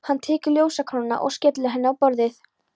Hann tekur ljósakrónuna og skellir henni á borðið.